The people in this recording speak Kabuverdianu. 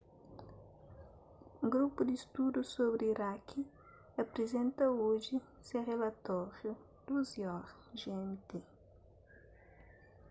grupu di studu sobri iraki aprizenta oji se rilatóriu 12:00 gmt